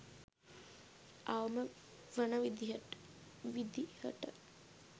අවම වන විදිහට.